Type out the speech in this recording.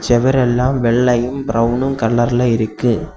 சுவரெல்லாம் வெள்ளையும் பிரவனும் கலர்ல இருக்கு.